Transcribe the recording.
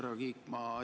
Härra Kiik!